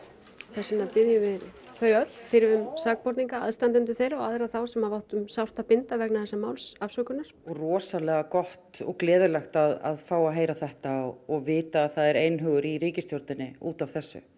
þess vegna biðjum við þau öll fyrrum sakborninga aðstandendur þeirra og aðra þá sem hafa átt um sárt að binda vegna þessa máls afsökunar rosalega gott og gleðilegt að fá að heyra þetta og vita að það er einhugur í ríkisstjórninni út af þessu